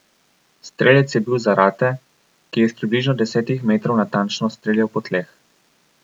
Strelec je bil Zarate, ki je s približno desetih metrov natančno streljal po tleh.